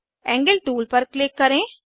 angle tool पर click करें